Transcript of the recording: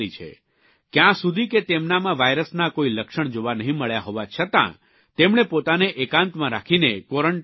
ક્યાં સુધી કે તેમનામાં વાયરસના કોઇ લક્ષણ જોવા નહીં મળ્યા હોવા છતાં તેમણે પોતાને એકાંતમાં રાખીને ક્વોરન્ટાઇન કર્યા છે